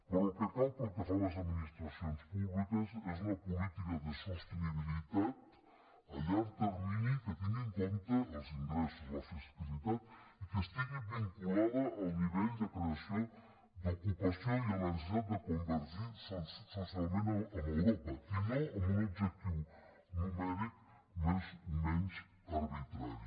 però el que cal pel que fa a les administracions públiques és una política de sostenibilitat a llarg termini que tingui en compte els ingressos la fiscalitat i que estigui vinculada al nivell de creació d’ocupació i a la necessitat de convergir socialment amb europa i no amb un objectiu numèric més o menys arbitrari